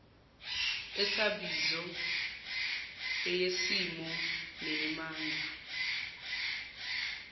esabizo eyesimo neyamandla